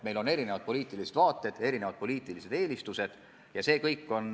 Meil on erinevad poliitilised vaated, erinevad poliitilised eelistused.